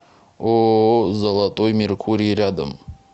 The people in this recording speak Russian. ооо золотой меркурий рядом